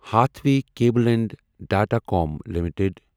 Hathway Cable and Datacom limited